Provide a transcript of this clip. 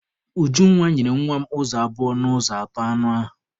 Ujunwa nyere nwa m ụzọ abụọ n'ụzọ atọ anụ ahụ.